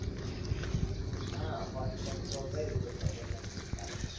હાં first sem તો ગયું અત્યારે second sem ચાલે છે.